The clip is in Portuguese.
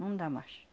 Não dá mais.